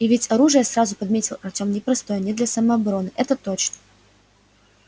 и ведь оружие сразу подметил артем непростое не для самообороны это точно